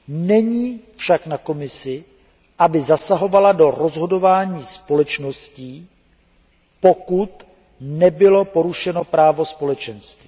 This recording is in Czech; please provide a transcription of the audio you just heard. Není však na Komisi, aby zasahovala do rozhodování společností, pokud nebylo porušeno právo Společenství.